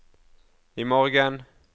imorgen